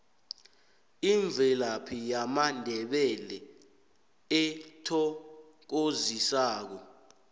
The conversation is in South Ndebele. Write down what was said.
imvelaphi yamandebele ethokozisako